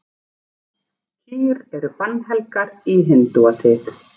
Kýr eru bannhelgar í hindúasið.